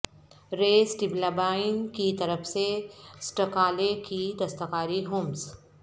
رے اسٹبلبائن کی طرف سے اسٹاکلے کی دستکاری ہومز